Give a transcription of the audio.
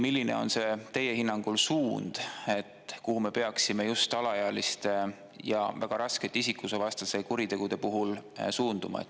Milline on teie hinnangul suund, kuhu me peaksime alaealiste ja väga raskete isikuvastaste kuritegude puhul suunduma?